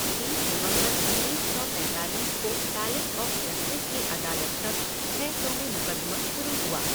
बीस नवंबर उन्नीस सौ पैंतालीस को पैलेस ऑफ़ जस्टिस के अदालत कक्ष छह सौ में मुक़दमा शुरू हुआ।